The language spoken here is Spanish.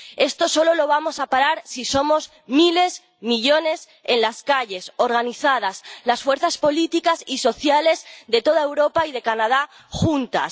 Esto solo lo vamos a parar si somos miles, millones en las calles, organizadas, las fuerzas políticas y sociales de toda Europa y de Canadá juntas.